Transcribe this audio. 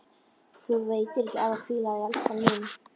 Þér veitir ekki af að hvíla þig, elskan mín.